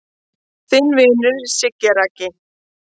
Þinn vinur Siggi Raggi